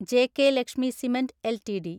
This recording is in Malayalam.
JK Lakshmi cement LTD